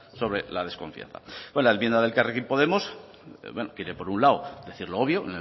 sobre la desconfianza bueno la enmienda de elkarrekin podemos quiere por un lado decir lo obvio